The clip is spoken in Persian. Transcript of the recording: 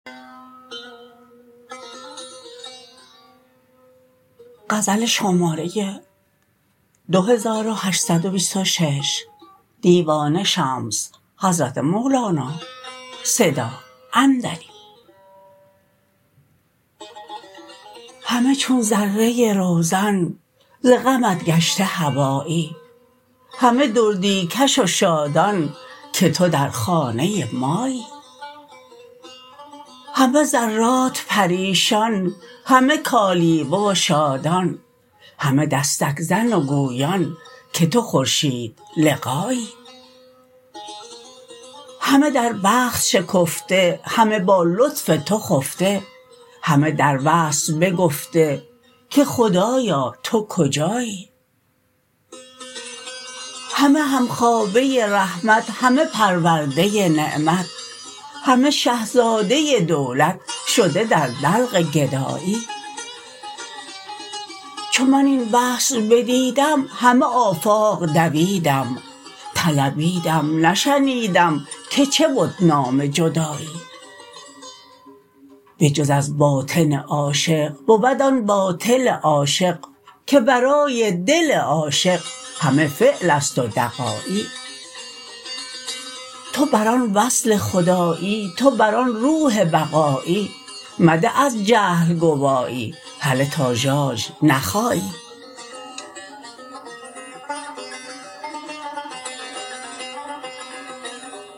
همه چون ذره روزن ز غمت گشته هوایی همه دردی کش و شادان که تو در خانه مایی همه ذرات پریشان همه کالیوه و شادان همه دستک زن و گویان که تو خورشیدلقایی همه در بخت شکفته همه با لطف تو خفته همه در وصل بگفته که خدایا تو کجایی همه همخوابه رحمت همه پرورده نعمت همه شه زاده دولت شده در دلق گدایی چو من این وصل بدیدم همه آفاق دویدم طلبیدم نشنیدم که چه بد نام جدایی بجز از باطن عاشق بود آن باطل عاشق که ورای دل عاشق همه فعل است و دغایی تو بر آن وصل خدایی تو بر آن روح بقایی مده از جهل گوایی هله تا ژاژ نخایی